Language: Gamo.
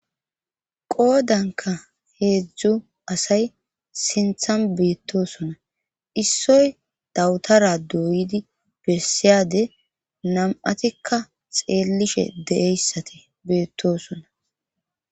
qoodanka heedzdzu asay sinthan beettosona issoy dawutara doydi besseyade nam'atikka xeellishe deeyssate beettosona